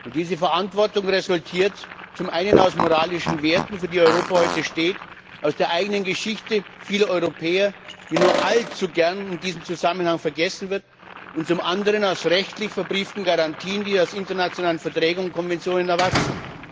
Diese Verantwortung resultiert zum einen aus den moralischen Werten, für die Europa heute steht, aus der eigenen Geschichte vieler Europäer, die nur allzu gern in diesem Zusammenhang vergessen wird, und zum anderen aus rechtlich verbrieften Garantien, die aus internationalen Verträgen und Konventionen erwachsen.